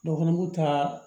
Dɔw fana b'u ta